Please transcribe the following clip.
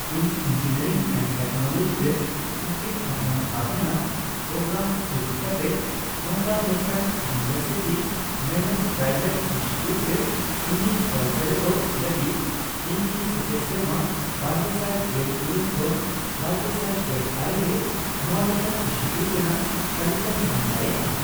ᱤᱧ engineering and technology ᱨᱮ ᱟᱹᱠᱤᱞ ᱟᱵᱷᱨᱟᱱ ᱫᱷᱟᱯ ᱨᱮᱱᱟᱜ ᱯᱨᱳᱜᱨᱟᱢ ᱥᱩᱡᱩᱠ ᱠᱟᱛᱮ ᱱᱚᱝᱠᱟᱱ ᱢᱤᱫᱴᱟᱝ ᱤᱭᱩᱱᱤᱣᱮᱨᱥᱤᱴᱤ ᱢᱮᱱᱮᱡᱰᱼᱯᱨᱟᱭᱣᱮᱴ ᱤᱱᱥᱴᱤᱴᱤᱭᱩᱴ ᱨᱮ ᱤᱧᱤᱧ ᱚᱞ ᱥᱮᱞᱮᱫᱚᱜ ᱞᱟᱹᱜᱤᱫ, ᱤᱧ ᱠᱤ ᱥᱮᱪᱮᱫ ᱥᱮᱨᱢᱟ ᱵᱟᱨᱜᱮᱥᱟᱭ ᱜᱮᱞ ᱤᱨᱟᱹᱞ ᱠᱷᱚᱱ ᱵᱟᱨᱜᱮᱥᱟᱭ ᱜᱮᱞ ᱟᱨᱮ ᱨᱮ ᱱᱚᱣᱟ ᱞᱮᱠᱟᱱ ᱤᱱᱥᱴᱤᱴᱤᱭᱩᱴ ᱨᱮᱱᱟᱜ ᱛᱟᱞᱤᱠᱟᱧ ᱧᱟᱢ ᱫᱟᱲᱮᱭᱟᱜᱼᱟ ?